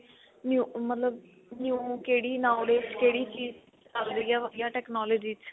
new ਮਤਲਬ new ਕਿਹੜੀ knowledge ਕਿਹੜੀ ਚੀਜ ਲੱਗ ਰਹੀ ਏ ਵਧੀਆ technology ਚ